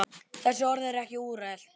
Þessi orð eru ekki úrelt.